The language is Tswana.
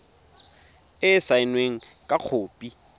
e e saenweng fa khopi